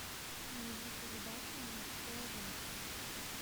найди передачу мужское женское